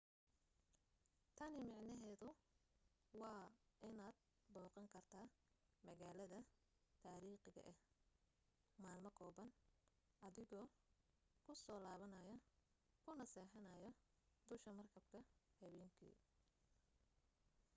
tani macnaheedu waa inaad booqan karto magaalada taariikhiga ah maalmo kooban adigoo ku soo laabanayo kuna seexanayo dusha markabka habaynkii